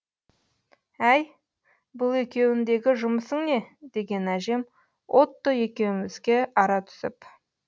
әй бұл екеуіндегі жұмысың не деген әжем отто екеумізге ара түсіп